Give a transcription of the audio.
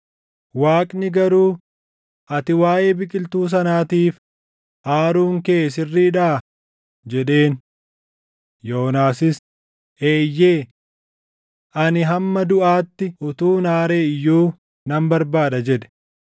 Waaqni garuu, “Ati waaʼee biqiltuu sanaatiif aaruun kee sirriidhaa?” jedheen. Yoonaasis, “Eeyyee. Ani hamma duʼaatti utuun aare iyyuu nan barbaada” jedhe.